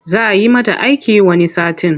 Za yi mata aiki wani satin.